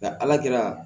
Nka ala kɛra